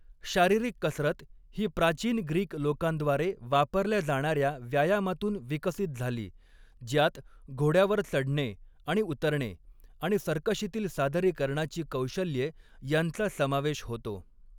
शारीरिक कसरत ही प्राचीन ग्रीक लोकांद्वारे वापरल्या जाणार्या व्यायामातून विकसित झाली, ज्यात घोड्यावर चढणे आणि उतरणे आणि सर्कशीतिल सादरीकरणाची कौशल्ये यांचा समावेश होतो.